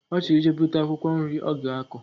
Ochor ije buta akwukwo nri oga ako